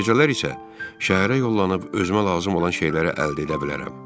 Gecələr isə şəhərə yollanıb özümə lazım olan şeyləri əldə edə bilərəm.